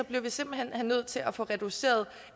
bliver vi simpelt hen nødt til at få reduceret